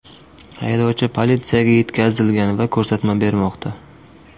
Haydovchi politsiyaga yetkazilgan va ko‘rsatma bermoqda.